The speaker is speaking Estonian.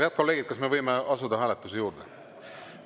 Head kolleegid, kas võime asuda hääletuse juurde?